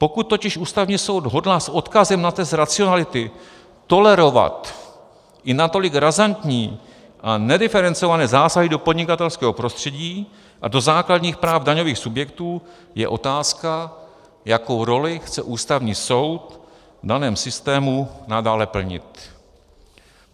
Pokud totiž Ústavní soud hodlá s odkazem na test racionality tolerovat i natolik razantní a nediferencované zásahy do podnikatelského prostředí a do základních práv daňových subjektů, je otázka, jakou roli chce Ústavní soud v daném systému nadále plnit.